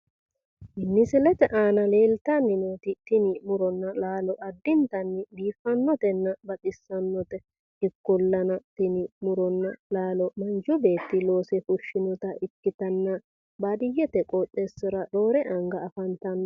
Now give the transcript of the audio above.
Misilete aana leeltanni nooti tini laalo addintanni baxissannote ikkolana tini Muronna laalo Manchu beetti loose fushinota ikkitanna baadiyyete qooxeessira roore anga afantanno.